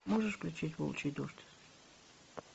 можешь включить волчий дождь